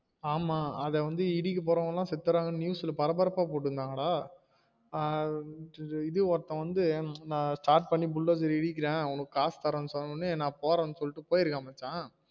ஆமா அத வந்து இடிக்க போறவங்க எல்லாம் செதிடுராங்கனு news ல பரபரப்பா போடுருந்தாங்க டா ஆஹ் இது ஒருத்தன் வந்து நான் start பண்ணிவஉள்ளத எழுதிகிறேன் காசு தரேன்னு சொன்ன வுடனே நா போறேன்னு சொல்லிடு போயிருக்கான் மச்சான்